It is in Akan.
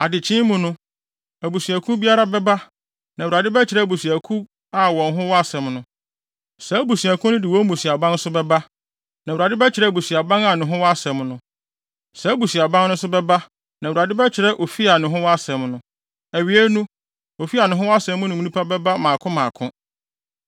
“ ‘Adekyee mu no, abusuakuw biara bɛba, na Awurade bɛkyerɛ abusuakuw a wɔn ho wɔ asɛm no. Saa abusuakuw no de wɔn mmusuaban no nso bɛba, na Awurade bɛkyerɛ abusuaban a ne ho wɔ asɛm no. Saa abusuaban no nso bɛba, na Awurade bɛkyerɛ ofi a ne ho wɔ asɛm no. Awiei no, ofi a ne ho wɔ asɛm no mu nnipa bɛba mmaako mmaako.